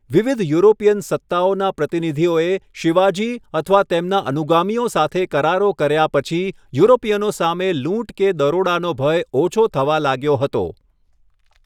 વિવિધ યુરોપીયન સત્તાઓના પ્રતિનિધિઓએ શિવાજી અથવા તેમના અનુગામીઓ સાથે કરારો કર્યા પછી, યુરોપિયનો સામે લૂંટ કે દરોડાનો ભય ઓછો થવા લાગ્યો હતો.